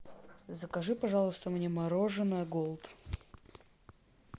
закажи пожалуйста мне мороженое голд